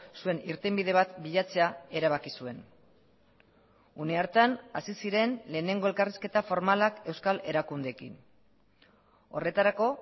zuen irtenbide bat bilatzea erabaki zuen une hartan hasi ziren lehenengo elkarrizketa formalak euskal erakundeekin horretarako